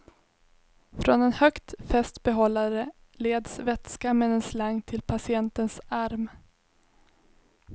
Från en högt fäst behållare leds vätska med en slang till patientens arm.